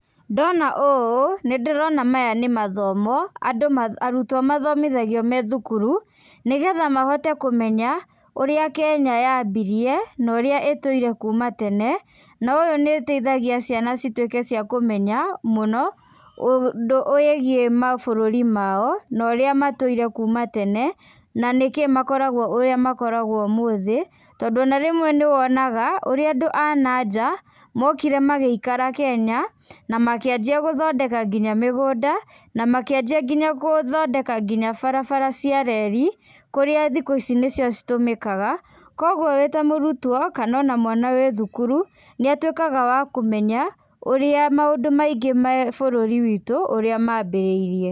Ndona ũũ, nĩ ndĩrona maya nĩ mathomo andũ arutwo mathomithagio me thukuru, nĩ getha mahote kũmenya, ũrĩa Kenya yambirie, na ũrĩa ĩtũire kuuma tene, na ũyũ nĩ ĩteithagia ciana cituĩke ciana cia kũmenya mũno, ũndũ wĩgiĩ mabũrũri mao, na ũrĩa matũire kuuma tene, na nĩ kĩ makoragwo ũrĩa makoragwo ũmũthĩ, tondũ ona rĩmwe nĩ wonaga, ũrĩa andũ a nanja mokire magĩikara Kenya, na makĩanjia gũthondeka nginya mĩgũnda, na makĩanjia nginya gũthondeka nginya barabara cia reli, kũrĩa thikũ ici nĩ cio citũmĩkaga, kũguo wĩ ta mũrutwo kana ona mwana wĩ thukuru, nĩ atuĩkaga wa kũmenya ũrĩa maũndũ maingĩ me bũrũri witũ ũrĩa mambĩrĩirie.